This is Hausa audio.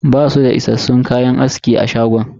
Basu da issassun kayan aski a shagon.